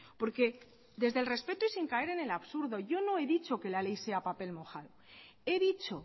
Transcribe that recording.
porque desde el respeto y sin caer en el absurdo yo no he dicho que la ley sea papel mojado he dicho